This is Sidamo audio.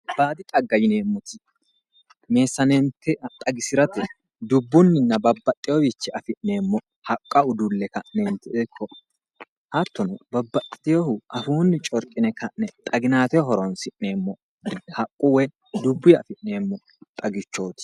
Baadi xagga yineemmoti, meessaneete xagisirate dubbunninna babbaxxeworiwiichinni afi'neemmo haqqa udulle ka'ne hattono babbaxewoohu afuunni corqine ka'ne xaginaateho horonsi'neemmo haqqu woyi dubbuyi afi'neemmo xagichooti.